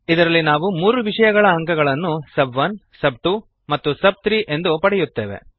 ಇದರಲ್ಲಿ ನಾವು ಮೂರು ವಿಷಯಗಳ ಅಂಕಗಳನ್ನು ಸಬ್1 ಸಬ್2 ಆಂಡ್ ಸಬ್3 ಎಂದು ಪಡೆಯುತ್ತೇವೆ